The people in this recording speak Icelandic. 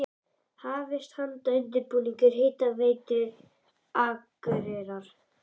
Hafist handa við undirbúning Hitaveitu Akureyrar.